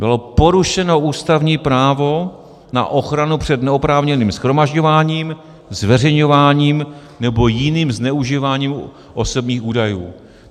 Bylo porušeno ústavní právo na ochranu před neoprávněným shromažďováním, zveřejňováním nebo jiným zneužíváním osobních údajů.